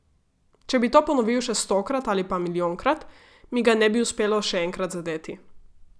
Če bi to ponovil še stokrat ali pa milijonkrat, mi ga ne bi uspelo še enkrat zadeti.